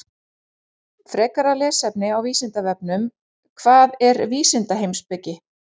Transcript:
Frekara lesefni á Vísindavefnum: Hvað er vísindaheimspeki?